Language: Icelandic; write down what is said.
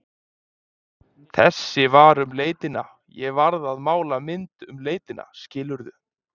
Þessi var um leitina, ég varð að mála mynd um leitina, skilurðu?